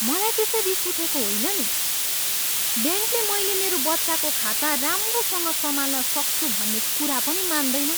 मलाई त्यसै रिस उठेको होइन नि। ब्याङ्कले मैले मेरो बच्चाको खाता राम्रोसँग सम्हाल्न सक्छ भन्ने कुरा पनि मान्दैन।